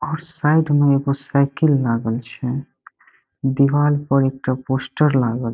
और साइड में एगो साइकिल लागल छे दीवार पर एक ठो पोस्टर लागल --